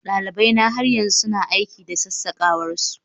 dalibaina har yanzu suna aiki da sassakawar su